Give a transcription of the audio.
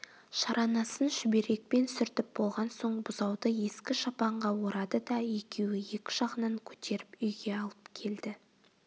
шаранасын шүберекпен сүртіп болған соң бұзауды ескі шапанға орады да екеуі екі жағынан көтеріп үйге алып келді